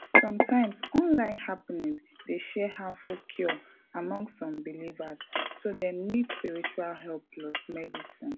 sometimes online happening dey share harmful cure among some believers so dem nid spiritual help plus medicine